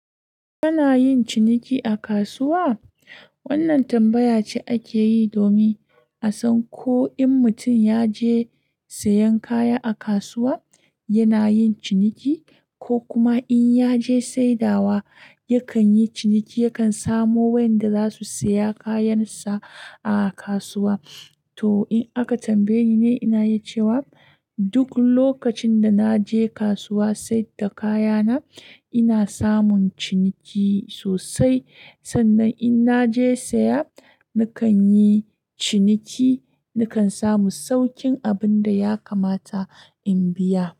Kana yin ciniki a kasuwa? Wannan tambaya ce ake yi domin a san ko in mutum ya je sayen kaya a kasuwa, yana yin ciniki, ko kuma in ya je saidawa yakan yi ciniki, yakan samu wayanda za su saya kayansa a kasuwa. To in aka tambaye ni ne, ina yi cewa duk lokacin da na je kasuwa saida kayana ina samun ciniki sosai. Sannan in na je saya, nakan yi ciniki, nakan samu saukin abin da ya kamata in biya.